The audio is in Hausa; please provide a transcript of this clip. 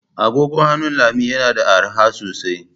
Agogon hannu Lami yana da arha sosai.